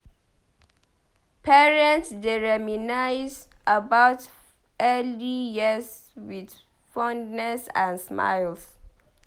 Parents dey reminisce about early years with fondness and smiles.